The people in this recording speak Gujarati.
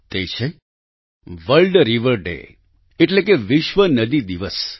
તે છે વર્લ્ડ રિવર ડે એટલે કે વિશ્વ નદી દિવસ